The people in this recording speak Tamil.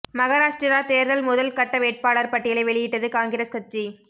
மகாராஷ்டிரா தேர்தல் முதல் கட்ட வேட்பாளர் பட்டியலை வெளியிட்டது காங்கிரஸ் கட்சி